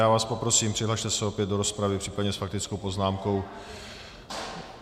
Já vás poprosím, přihlaste se opět do rozpravy případně s faktickou poznámkou.